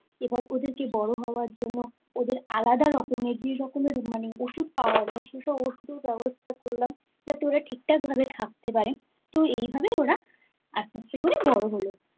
এবার ওদের বড় হওয়ার জন্য ওদের আলাদা রকমের৷ যে রকম মানে ওষুধ পাওয়া যায় সে সব ওষুধের ব্যবস্থা করলাম তাতেও ঠিকঠাকভাবে থাকতে পারে তো এই ভাবে ওরা আস্তে আস্তে বড়ো হলো